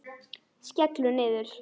Skellur niður.